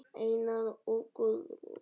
Einar og Guðrún.